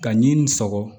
Ka ɲi nin sɔgɔ